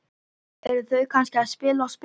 Eru þau kannski að spila á spil?